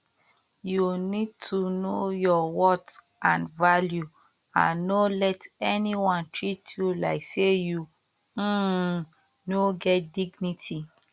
you need to know your worth and value and no let anyone treat you like say you um no get dignity